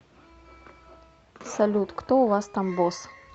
салют кто у вас там босс